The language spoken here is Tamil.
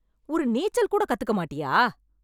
ஒரு நீச்சல் கூட கத்துக்க மாட்டியா?